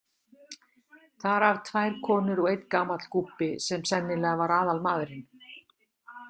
Þar af tvær konur og einn gamall gúbbi sem sennilega var aðalmaðurinn.